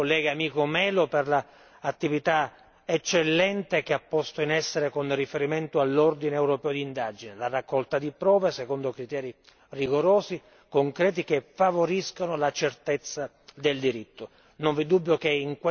Mi complimento con il collega Nuno Melo per l'attività eccellente che ha posto in essere con riferimento all'ordine europeo d'indagine la raccolta di prove secondo criteri rigorosi e concreti che favoriscano la certezza del diritto.